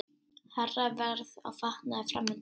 Hærra verð á fatnaði framundan